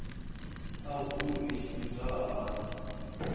a vundu i tshimbidzwa hani